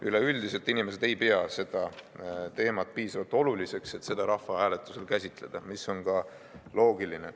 Üleüldiselt inimesed ei pea seda teemat piisavalt oluliseks, et seda rahvahääletusel käsitleda, mis on ka loogiline.